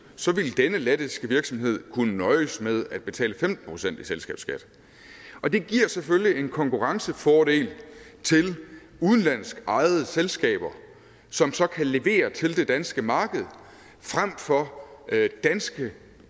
så ville denne lettiske virksomhed kunne nøjes med at betale femten procent i selskabsskat og det giver selvfølgelig en konkurrencefordel til udenlandsk ejede selskaber som så kan levere til det danske marked frem for danske